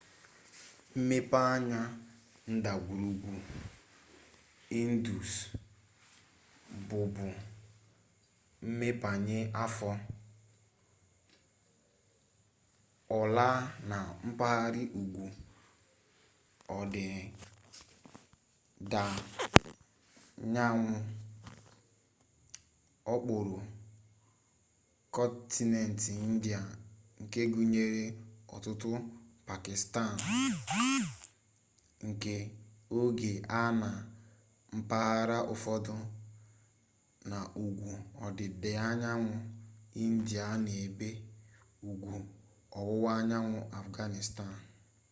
mmepeanya ndagwurugwu indus bụbu mmepeanya afọ ọla na mpaghara ugwu ọdịdaanyanwụ okpuru kọntinent india nke gụnyere ọtụtụ pakistan nke oge a na mpaghara ụfọdụ na ugwu ọdịdaanyanwụ india na n'ebe ugwu ọwụwaanyanwụ afghanistan